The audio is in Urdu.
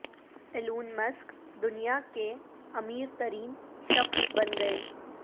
ایلون مسک دنیا کے امیر ترین شخص بن گئے